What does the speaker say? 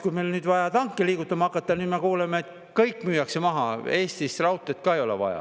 Kui meil on vaja nüüd tanke liigutama hakata, siis me kuuleme, et kõik müüakse maha, Eestis raudteed ka ei ole vaja.